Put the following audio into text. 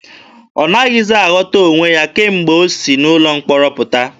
Ọ naghịzi aghọta onwe ya kemgbe o si n'ụlọ mkpọrọ pụta.